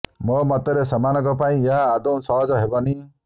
ମୋ ମତରେ ସେମାନଙ୍କ ପାଇଁ ଏହା ଆଦୌ ସହଜ ହେବନି